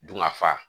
Dunkafa